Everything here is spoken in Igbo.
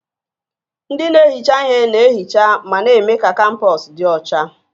Ndị na-ehicha ihe na-ehicha ma na-eme ka kampọs dị ọcha